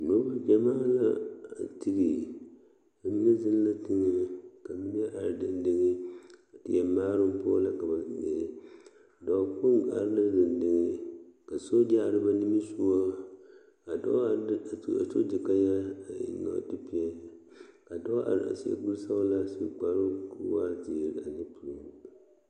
Yie la taa koɔ ka lɔɔpelaa be a koɔ poɔ ka bie do are a lɔre zu kyɛ seɛ kurisɔglaa kyɛ yage o kparoŋ ka teere meŋ are a yie puori seŋ kyɛ ka vūūmie meŋ a wa gaa.